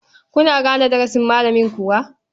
Kuna gane darasin malamin kuwa?